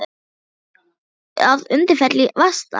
Bjuggu þau að Undirfelli í Vatnsdal.